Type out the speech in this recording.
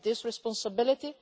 We have this responsibility.